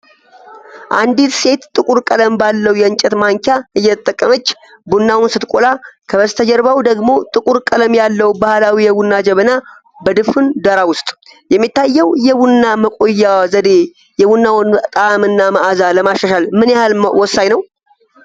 አንዲት ሰው ጥቁር ቀለም ባለው የእንጨት ማንኪያ እየተጠቀመች ቡናውን ስትቆላ፣ ከበስተጀርባው ደግሞ ጥቁር ቀለም ያለው ባህላዊ የቡና ጀበና በድፍን ዳራ ውስጥ ።የሚታየው የቡና መቆያ ዘዴ የቡናውን ጣዕም እና መዓዛ ለማሻሻል ምን ያህል ወሳኝ ነው?